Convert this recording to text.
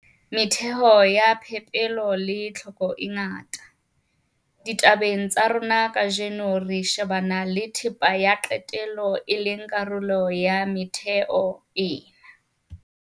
Metheo ya phepelo le tlhoko e ngata. Ditabeng tsa rona kajeno, re shebana le thepa ya qetelo, e leng karolo ya metheo ena.